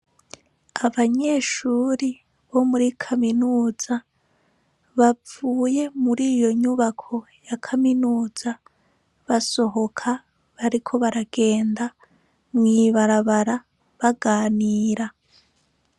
Abanyeshure bo muri kaminuza bavuye muri iyo nyubako yakaminuza basohoka bariko baragenda mw'ibarabara baganira.